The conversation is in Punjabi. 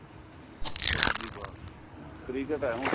ਬੱਸ ਜੀ ਬੱਸ cricket ਏ ਹੁਣ